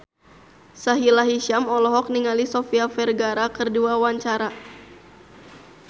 Sahila Hisyam olohok ningali Sofia Vergara keur diwawancara